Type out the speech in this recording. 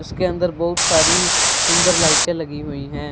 उसके अंदर बहुत सारी सुंदर लाइटें लगी हुई हैं।